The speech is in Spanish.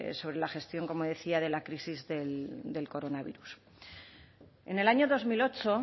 sobre la gestión como decía de la crisis del coronavirus en el año dos mil ocho